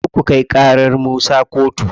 Kar ku kai ƙarar Musa kotu.